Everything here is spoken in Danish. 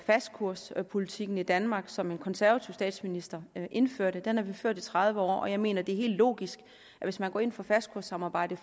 fastkurspolitikken i danmark som en konservativ statsminister indførte den har vi ført i tredive år og jeg mener det er helt logisk at hvis man går ind for fastkurssamarbejdet